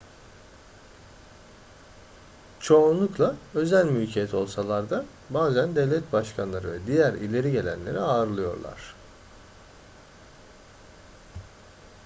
çoğunlukla özel mülkiyet olsalar da bazen devlet başkanları ve diğer ileri gelenleri ağırlıyorlar